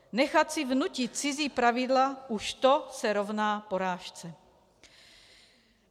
Nechat si vnutit cizí pravidla, už to se rovná porážce.